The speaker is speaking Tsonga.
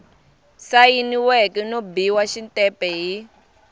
sayiniweke no biwa xitempe hi